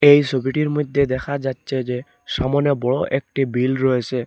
এই সোবিটির মইদ্যে দেখা যাচ্চে যে সামোনে বড়ো একটি বিল রয়েসে ।